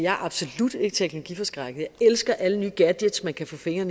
er absolut ikke teknologiforskrækket og elsker alle nye gadgets man kan få fingre